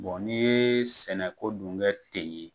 n'i ye sɛnɛko dun kɛ ten ye.